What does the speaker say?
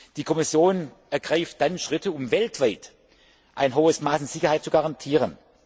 Die Kommission ergreift dann Schritte, um weltweit ein hohes Maß an Sicherheit zu garantieren.